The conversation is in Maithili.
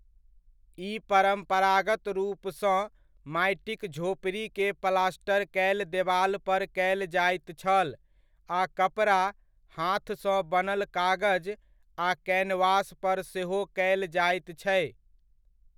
ई परम्परागत रूपसँ माटिक झोपड़ी के प्लास्टर कयल देवाल पर कयल जाइत छल आ कपड़ा, हाथ सँ बनल कागज आ कैनवास पर सेहो कयल जाइत छै।